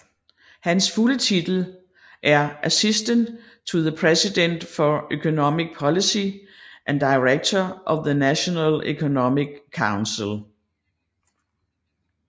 Hans fulde titel er Assistant to the President for Economic Policy and Director of the National Economic Council